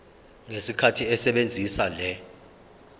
ngesikhathi esebenzisa le